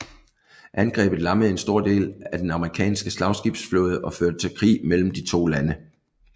Angrebet lammede en stor del af den amerikanske slagskibsflåde og førte til krig mellem de to lande